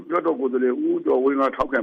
လွှတ်တော်ကိုယ်စားလှယ် ဦးကျော်ဝင်းကထောက်ခံ